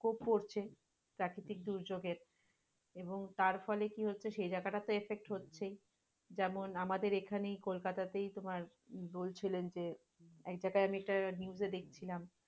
প্রাকৃতিক দুর্যোগের এবং তারফলে কি হচ্ছে? সেই যাগাটাতে affect হচ্ছেই, যেমন আমাদের এখানে এই কোলকাতাতেই তোমার বোলছিলেন যে একযায়গায় আমি একটা news এ দেখছিলাম,